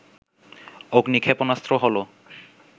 অগ্নি ক্ষেপণাস্ত্র হল